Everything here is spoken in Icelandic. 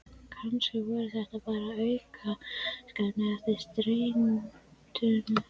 Kannski voru þetta bara aukaverkanir eftir streituna.